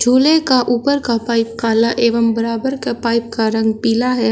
झूले का ऊपर का पाइप काला एवं बराबर का पाइप का रंग पीला है।